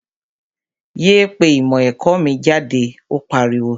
Yéé pé ìmọ̀ ẹ̀kọ́ mi jáde, ó pariwo!